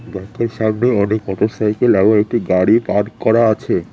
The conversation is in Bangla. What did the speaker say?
ব্যাঙ্কের সামনে অনেক মোটর সাইকেল এবং একটি গাড়ি পার্ক করা আছে।